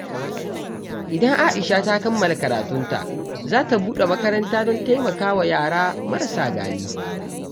Idan Aisha ta kammala karatunta, za ta buɗe makaranta don taimaka wa yara marasa galihu.